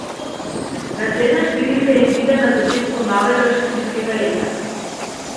Naslednja številka izide na začetku novega študijskega leta.